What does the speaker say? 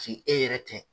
e yɛrɛ tɛ